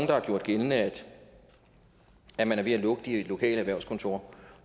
der har gjort gældende at man er ved at lukke de lokale erhvervskontorer